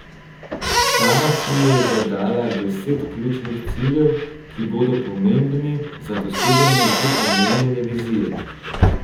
Sama si je zadala deset ključnih ciljev, ki bodo pomembni za doseganje že omenjene vizije.